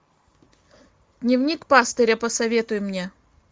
дневник пастыря посоветуй мне